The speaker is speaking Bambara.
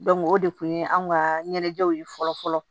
o de kun ye anw ka ɲɛnajɛw ye fɔlɔ fɔlɔ